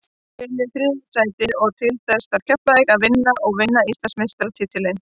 Við viljum þriðja sætið og til þess þarf Keflavík að vinna og vinna Íslandsmeistaratitilinn.